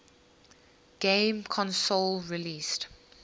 game console released